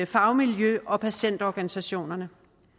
fagmiljø og patientorganisationerne